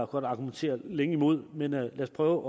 godt argumentere længe imod men lad os prøve